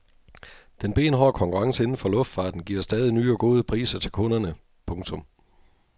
Den benhårde konkurrence inden for luftfarten giver stadig nye og gode priser til kunderne. punktum